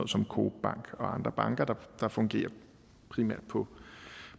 som coop bank og andre banker der fungerer primært på